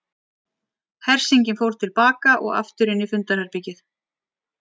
Hersingin fór til baka og aftur inn í fundarherbergið.